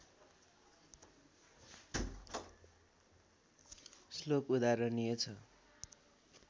श्लोक उदाहरणीय छ